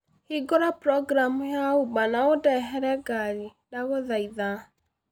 Hingũra programu ya uber na ũndehere ngari, ndagũthaitha